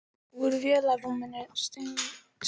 Úr vélarrúminu streymdi sjóðheitur mökkur.